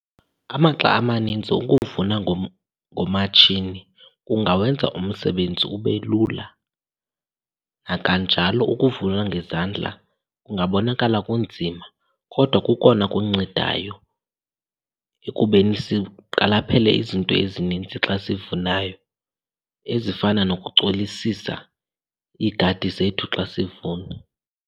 Amaxa amanintsi ukuvuna ngomatshini kungawenza umsebenzi ube lula, nakanjalo ukuvuna ngezandla kungabonakala kunzima kodwa kukona kuncedayo ekubeni siqaphele izinto ezininzi xa sivunayo ezifana nokucolisisa iigadi zethu xa sivuna.